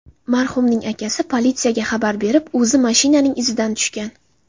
Marhumning akasi politsiyaga xabar berib, o‘zi mashinaning izidan tushgan.